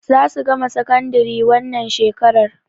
Za su gama sakandari wannan shekarar.